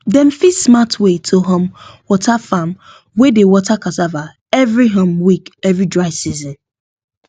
dem fix smart way to um water farm wey dey water cassava every um week every dry season